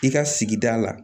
I ka sigida la